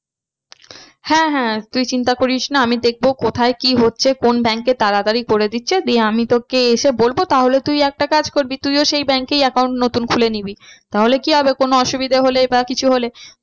হ্যাঁ হ্যাঁ তুই চিন্তা করিস না আমি দেখবো কোথায় কি হচ্ছে কোন bank এ তাড়াতাড়ি করে দিচ্ছে দিয়ে আমি তোকে এসে বলবো তাহলে তুই একটা কাজ করবি তুইও সেই bank এই account নতুন খুলে নিবি। তাহলে কি হবে কোনো অসুবিধা হলে বা কিছু হলে